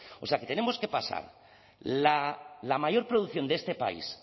o sea que tenemos que pasar la mayor producción de este país